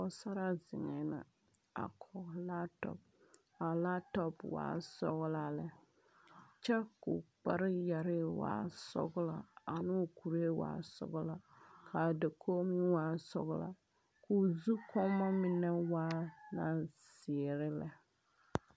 Pogesaraa zeŋe la. A koge latɔp. A latɔp waa sɔglaa lɛ. Kyɛ ka o kpar yɛre waa sɔglaa ane o kureɛ waa sɔglaa. Ka dakoge meŋ waa sɔglaa. Ka o zukuɔma mene waa la ziire lɛ